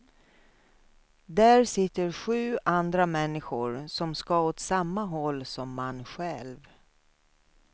Där sitter sju andra människor som ska åt samma håll som man själv.